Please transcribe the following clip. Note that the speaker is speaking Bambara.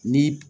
Ni